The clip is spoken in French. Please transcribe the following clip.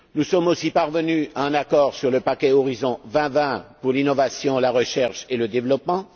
Nous sommes aussi parvenus à un accord sur le paquet Horizon 2020 pour l'innovation, la recherche et le développement.